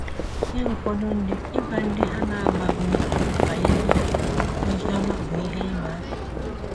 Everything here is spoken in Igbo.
Nye ụfọdụ ndị, ịgwa ndị ha na-amabughị banyere ozi ọma bụ ihe ịma aka.